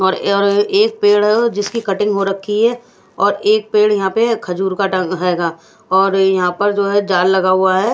और और एक पेड़ है जिसकी कटिंग हो रखी है और एक पेड़ यहां पे है खजूर कटा है गा और यहां पर जो है जाल लगा हुआ है।